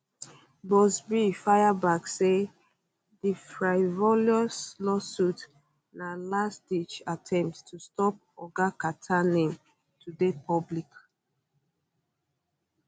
buzbee fire back say di frivolous lawsuit na lastditch attempt to stop oga carter name to dey public